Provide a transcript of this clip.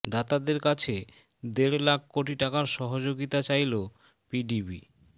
দাতাদের কাছে দেড় লাখ কোটি টাকার সহযোগিতা চাইলো পিডিবি